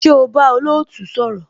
Ṣé o bá olootu sọ̀rọ̀?